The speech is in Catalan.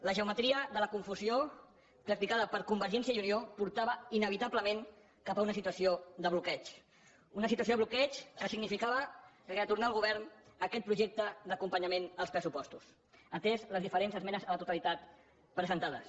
la geometria de la confusió practicada per convergència i unió portava inevitablement cap a una situació de bloqueig una situació de bloqueig que significava retornar al govern aquest projecte d’acompanyament dels pressupostos ateses les diferents esmenes a la totalitat presentades